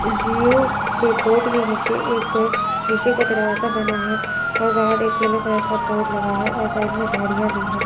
जिओ के बोर्ड के नीचे एक शीशे का दरवाजा बना है और बाहर एक येलो कलर का बोर्ड लगा है और साइड में झाड़ियां भी है।